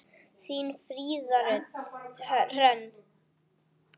Þín, Fríða Hrönn.